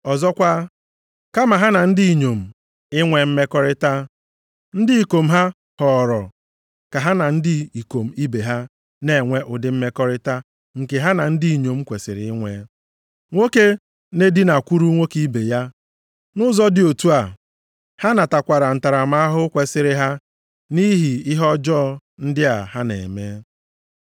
Ọzọkwa, kama ha na ndị inyom inwe mmekọrịta; ndị ikom ha họọrọ ka ha na ndị ikom ibe ha na-enwe ụdị mmekọrịta nke ha na ndị inyom kwesiri inwe. Nwoke na-edinakwuru nwoke ibe ya. Nʼụzọ dị otu a, ha natakwara ntaramahụhụ kwesiri ha nʼihi ihe ọjọọ ndị a ha na-eme.